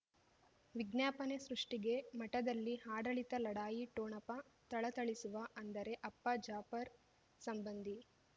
ವಿಜ್ಞಾಪನೆ ಸೃಷ್ಟಿಗೆ ಮಠದಲ್ಲಿ ಆಡಳಿತ ಲಢಾಯಿ ಠೊಣಪ ಥಳಥಳಿಸುವ ಅಂದರೆ ಅಪ್ಪ ಜಾಫರ್ ಸಂಬಂಧಿ